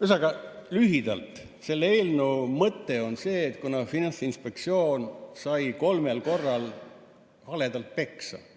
Ühesõnaga lühidalt: selle eelnõu mõte on see, et kuna Finantsinspektsioon sai kolmel korral haledalt peksa –